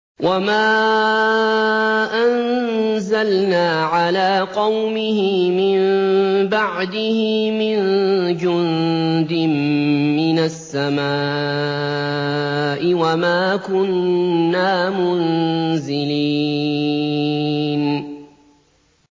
۞ وَمَا أَنزَلْنَا عَلَىٰ قَوْمِهِ مِن بَعْدِهِ مِن جُندٍ مِّنَ السَّمَاءِ وَمَا كُنَّا مُنزِلِينَ